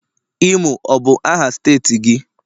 imo ọ bu aha steeti gi?